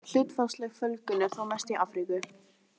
Hlutfallsleg fjölgun er þó mest í Afríku.